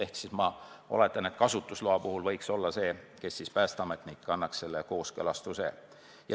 Ehk ma siis oletan, et kasutusloa puhul annab päästeametnik kooskõlastuse.